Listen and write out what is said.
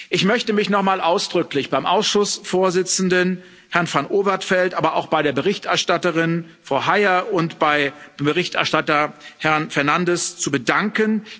Ich möchte mich noch einmal ausdrücklich beim Ausschussvorsitzenden, Herrn Van Overtveldt, aber auch bei der Berichterstatterin, Frau Hayer, und bei dem Berichterstatter, Herrn Fernandes, bedanken.